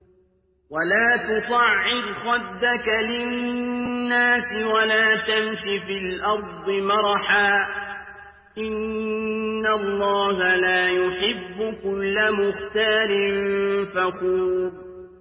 وَلَا تُصَعِّرْ خَدَّكَ لِلنَّاسِ وَلَا تَمْشِ فِي الْأَرْضِ مَرَحًا ۖ إِنَّ اللَّهَ لَا يُحِبُّ كُلَّ مُخْتَالٍ فَخُورٍ